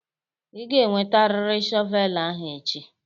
Ị ga-ewetarịrị shọvel ahụ echi!